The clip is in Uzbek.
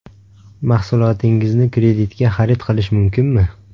Mahsulotingizni kreditga xarid qilish mumkinmi?